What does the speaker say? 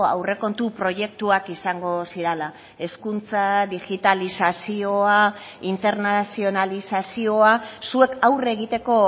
aurrekontu proiektuak izango zirala hezkuntza digitalizazioa internazionalizazioa zuek aurre egiteko